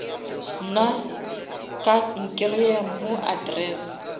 nna ka nkreya mo address